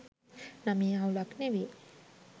නමේ අවුලක් නෙවේ.